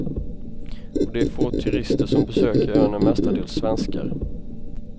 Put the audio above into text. Och de få turister som besöker ön är mestadels svenskar.